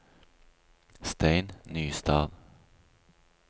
Stein Nystad